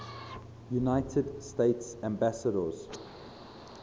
united states ambassadors